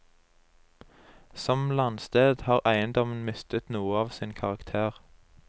Som landsted har eiendommen mistet noe av sin karakter.